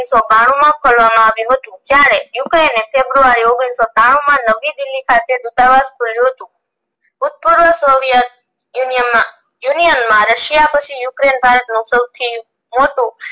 બાનુ માં ખોલવામાં આવ્યું હતું જયારે ukraine ને february ઓગણીસો બાનુ માં નવી દિલ્હી ખાતે દુતાવાસ હતું soviet union માં russia પછી ukraine પાસે સૌથી મોટું